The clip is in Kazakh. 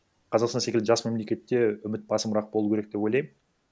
қазақстан секілді жас мемлкетте үміт басымырақ болу керек деп ойлаймын